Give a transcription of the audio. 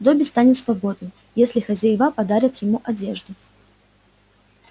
добби станет свободным если хозяева подарят ему одежду